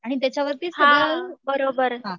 आणि त्याच्यावरती सगळं हां